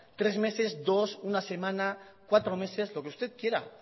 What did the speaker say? tres meses dos una semana cuatro meses lo que usted quiera